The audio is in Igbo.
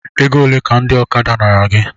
Egole ka ndị ọkada nara gị?